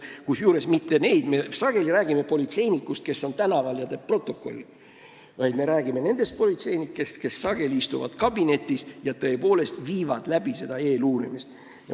Kusjuures me ei räägi neist politseinikest, kes on tänaval ja teevad protokolli, vaid me räägime nendest politseinikest, kes istuvad sageli kabinetis ja viivad tõepoolest seda eeluurimist läbi.